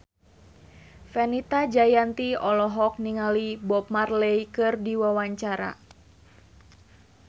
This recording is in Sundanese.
Fenita Jayanti olohok ningali Bob Marley keur diwawancara